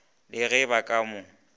le ge ba ka mo